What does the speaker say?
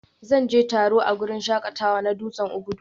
Zan je taro a wurin shakatawa na dutsen Obudu